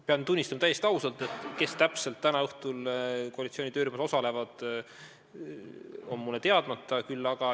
Pean täiesti ausalt tunnistama, et see, kes täpselt täna õhtul koalitsiooni töörühmas osalevad, on mulle teadmata.